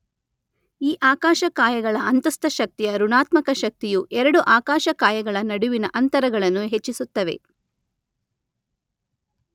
ಈ ಆಕಾಶಕಾಯಗಳ ಅಂತಸ್ಥ ಶಕ್ತಿಯ ಋಣಾತ್ಮಕ ಶಕ್ತಿಯು ಎರಡು ಆಕಾಶ ಕಾಯಗಳ ನಡುವಿನ ಅಂತರಗಳನ್ನು ಹೆಚ್ಚಿಸುತ್ತವೆ.